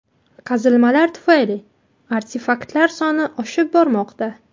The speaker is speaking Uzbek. Qazilmalar tufayli artefaktlar soni oshib bormoqda.